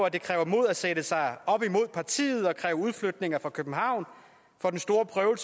at det kræver mod at sætte sig op imod partiet og kræve udflytninger fra københavn for den store prøve